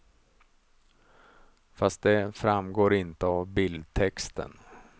Fast det framgår inte av bildtexten.